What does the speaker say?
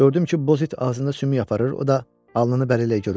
Gördüm ki, Bozit ağzında sümük aparır, o da alnını bərlə görün.